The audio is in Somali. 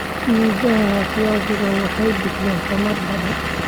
Midhaha ee viazi waxay bixiyaan tamar badan.